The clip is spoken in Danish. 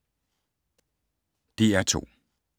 DR2